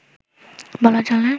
বলা চলে